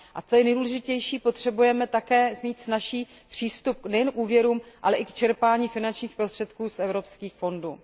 A co je nejdůležitější, potřebujeme také mít snazší přístup nejen k úvěrům, ale i k čerpání finančních prostředků z evropských fondů.